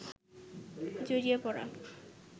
জড়িয়ে পড়া